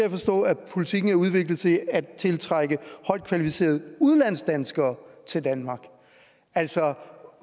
jeg forstå at politikken er udviklet til at tiltrække højtkvalificerede udlandsdanskere til danmark altså